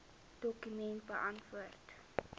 dokument beantwoord